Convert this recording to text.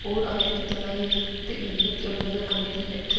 ஓர் ஆயிரத்தி தொள்ளாயிரத்து எண்பத்தி ஒன்பதில் அமைதியற்ற